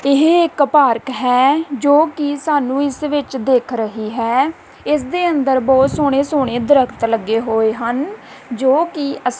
ਇਹ ਇੱਕ ਪਾਰਕ ਹੈ ਜੋਕਿ ਸਾਹਨੂੰ ਇਸ ਵਿੱਚ ਦਿੱਖ ਰਹੀ ਹੈ ਇਸਦੇ ਅੰਦਰ ਬਹੁਤ ਸੋਹਣੇ ਸੋਹਣੇ ਦਰੱਖਤ ਲੱਗੇ ਹੋਏ ਹਨ ਜੋਕਿ ਅੱਸੀ--